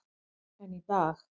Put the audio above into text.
En í dag.